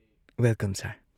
Welcome sir.